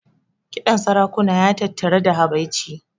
Kiɗan sarakuna ya tattari da habaici.